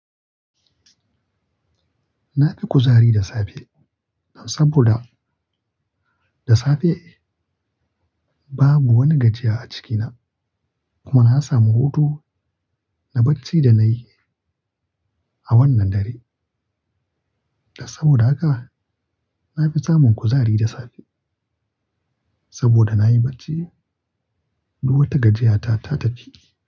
Na fi kuzari da safe saboda da safe babu wani gajiya a cikina kuma na samu hutu na bacci da nayi a wannan dare. Saboda haka na fi samun kuzari da safe saboda na yi bacci. Duk wata gajiyata ta tafi.